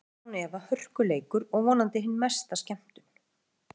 Þetta verður án efa hörku leikur og vonandi hin mesta skemmtun.